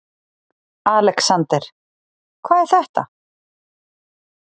ALEXANDER: Hvað er þetta?